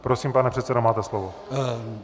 Prosím, pane předsedo, máte slovo.